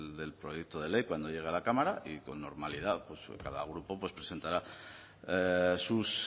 del proyecto de ley cuando llegue a la cámara y con normalidad pues cada grupo presentará sus